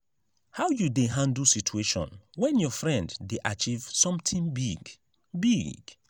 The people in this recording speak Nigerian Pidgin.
how you dey handle situation when your friend dey achieve something big? big?